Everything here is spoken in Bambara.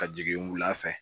Ka jigin wula fɛ